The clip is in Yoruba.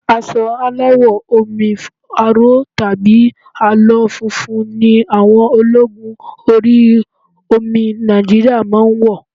Aṣọ aláwọ̀ omi aró tàbí àlọ́ funfun ni àwọn ológun orí omi Nigeria máa ń wọ̀